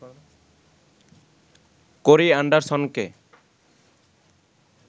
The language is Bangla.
কোরি এণ্ডারসনকে